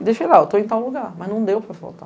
E deixei lá, eu estou em tal lugar, mas não deu para faltar.